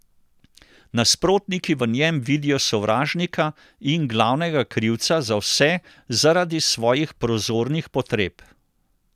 Nasprotniki v njem vidijo sovražnika in glavnega krivca za vse zaradi svojih prozornih potreb.